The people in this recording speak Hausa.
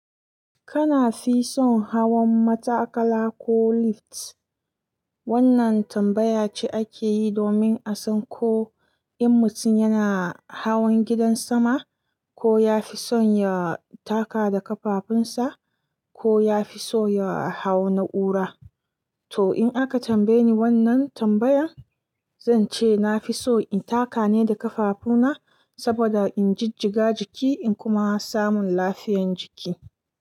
Kana fi son hawan matakala ko lift? Wannan tambaya ce ake yi domin a san ko in mutum yana hawan gidan sama, ko ya fi son ya taka da ƙafafunsa ko ya fi so ya hau na'ura. To, in aka tambaye ni wannan tambayan, zan ce na fi so in taka ne da ƙafafuna saboda in jijjiga jiki in kuma samu lafiyan jiki.